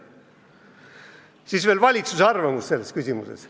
Siis veel valitsuse arvamusest selles küsimuses.